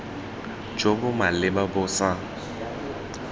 jo bo maleba bo sa